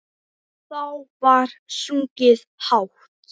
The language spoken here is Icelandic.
Þá var sungið hátt.